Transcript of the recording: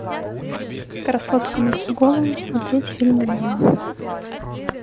красотка на всю голову смотреть фильм онлайн